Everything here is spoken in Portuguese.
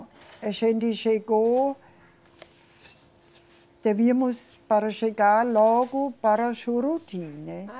A gente chegou, devíamos para chegar logo para Juruti, né? Ah